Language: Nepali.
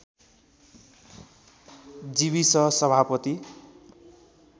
जिविस सभापति